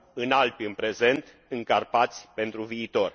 În Alpi în prezent, în Carpați pentru viitor.